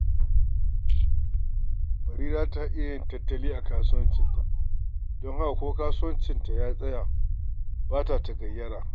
Barira tana yin tattali a kasuwancinta, don haka ko kasuwa ta tsaya ba ta tagayyara